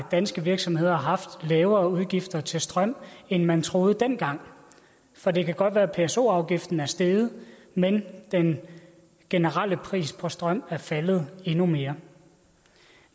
at danske virksomheder har haft lavere udgifter til strøm end man troede dengang for det kan godt være at pso afgiften er steget men den generelle pris på strøm er faldet endnu mere